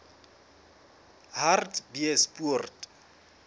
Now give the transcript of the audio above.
hartbeespoort